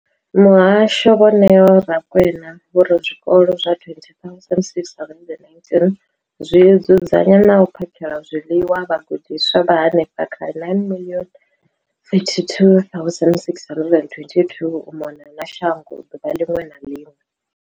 Muhasho, Vho Neo Rakwena, vho ri zwikolo zwa 20 619 zwi dzudzanya na u phakhela zwiḽiwa vhagudiswa vha henefha kha 9 032 622 u mona na shango ḓuvha ḽiṅwe na ḽiṅwe.